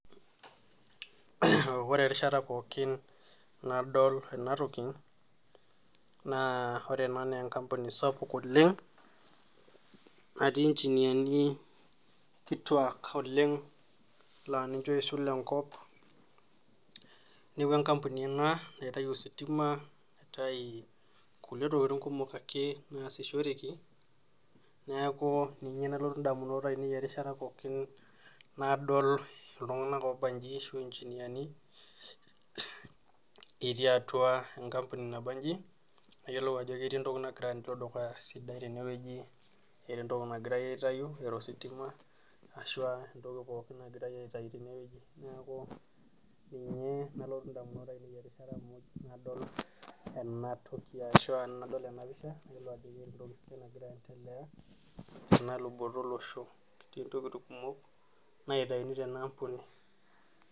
Wore erishata pookin nadol ena toki, naa wore ena naa enkampuni sapuk oleng', natii engineer ni kituak oleng' naa ninche oisul enkop. Neeku enkampuni ena naitayu ositima, naitayu kulie tokitin kumok ake naasishoreki, neeku ninye nalotu indamunot aiinei erishata pookin nadol iltunganak oobanyi ashu inginiani, etii atua enkampuni nabanji, nayiolo ajo ketii entoki nakira aendelea dukuya sidai tenewoji. Eeta entoki nakirae aitayu, eeta ositima, ashu a entoki pookin nakirae aitayu tenewoji. Neeku ninye nalotu indamunot aiinei erishata mmoj nadol enatoki ashu aa ena pisha. Nayiolou ajo keeta entoki nakira aendelea teluboto olosho toontokiting kumok naitayuni tena ambuni.